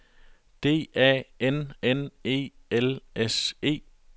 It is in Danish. D A N N E L S E